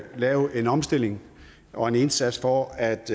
lave en omstilling og en indsats for at